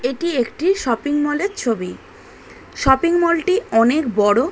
এইটি একটি shopping mall -এর ছবি -টি অনেক বড়ো।